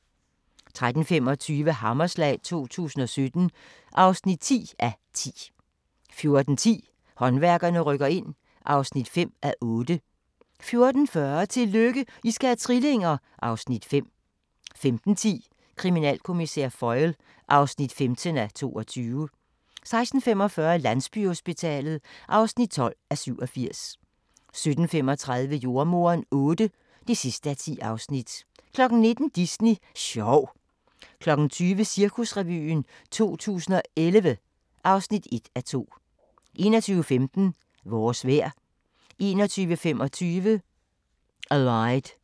13:25: Hammerslag 2017 (10:10) 14:10: Håndværkerne rykker ind (5:8) 14:40: Tillykke, I skal have trillinger! (Afs. 5) 15:10: Kriminalkommissær Foyle (15:22) 16:45: Landsbyhospitalet (12:87) 17:35: Jordemoderen VIII (10:10) 19:00: Disney sjov 20:00: Cirkusrevyen 2011 (1:2) 21:15: Vores vejr 21:25: Allied